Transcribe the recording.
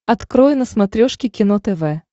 открой на смотрешке кино тв